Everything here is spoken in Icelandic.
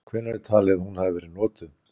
Hvenær er talið að hún hafi verið notuð?